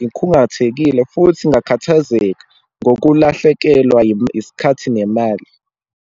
ngikhungathekile futhi ngakhathazeka ngokulahlekelwa isikhathi nemali.